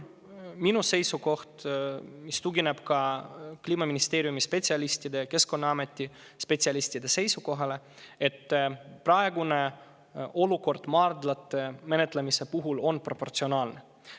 Minu seisukoht, mis tugineb ka Kliimaministeeriumi spetsialistide, Keskkonnaameti spetsialistide seisukohale, on see, et praegune olukord maardlate menetlemise puhul on proportsionaalne.